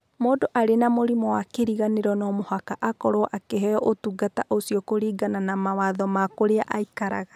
Mũndũ arĩ na mũrimũ wa kĩriganĩro no mũhaka akorũo akĩheo ũtungata ũcio kũringana na mawatho ma kũrĩa aikaraga.